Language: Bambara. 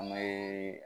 An bɛ